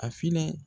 A fili